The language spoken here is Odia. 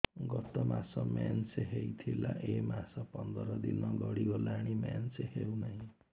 ଗତ ମାସ ମେନ୍ସ ହେଇଥିଲା ଏ ମାସ ପନ୍ଦର ଦିନ ଗଡିଗଲାଣି ମେନ୍ସ ହେଉନାହିଁ